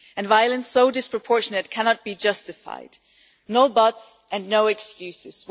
Violence so disproportionate cannot be justified, no buts and no excuses.